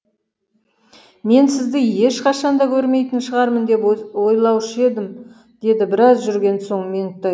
мен сізді ешқашан да көрмейтін шығармын деп ойлаушы едім деді біраз жүрген соң меңтай